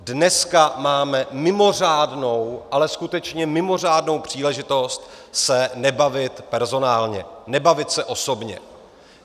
Dneska máme mimořádnou, ale skutečně mimořádnou příležitost se nebavit personálně, nebavit se osobně.